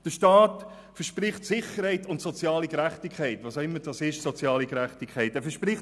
Der Staat verspricht Sicherheit und soziale Gerechtigkeit, was auch immer soziale Gerechtigkeit ist.